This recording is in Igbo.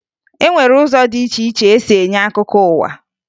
E nwere ụzọ dị iche iche e si enye akụkọ ụwa